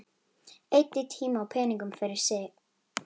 Eyddi tíma og peningum fyrir mig.